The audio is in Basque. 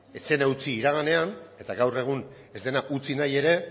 ez zen utzi iraganean eta gaur egun ez dena utzi nahi ere